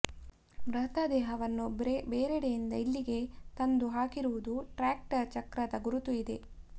ಮೃತದೇಹವನ್ನು ಬೇರೆಡೆಯಿಂದ ಇಲ್ಲಿಗೆ ತಂದು ಹಾಕಿರುವುದಕ್ಕೆ ಟ್ರ್ಯಾಕ್ಟರ್ ಚಕ್ರದ ಗುರುತು ಇದೆ